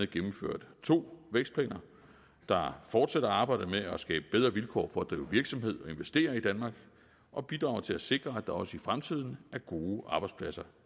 gennemført to vækstplaner der fortsætter arbejdet med at skabe bedre vilkår for at drive virksomhed og investere i danmark og bidrager til at sikre at der også i fremtiden er gode arbejdspladser